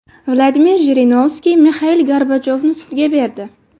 Vladimir Jirinovskiy Mixail Gorbachyovni sudga berdi .